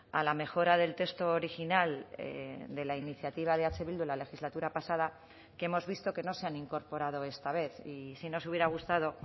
a la mejora del texto original de la iniciativa de eh bildu la legislatura pasada que hemos visto que no se han incorporado esta vez y sí nos hubiera gustado